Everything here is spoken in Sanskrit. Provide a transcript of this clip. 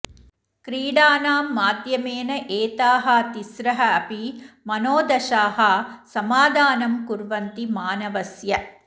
क्रीडानां माध्यमेन एताः तिस्रः अपि मनोदशाः समाधानं कुर्वन्ति मानवस्य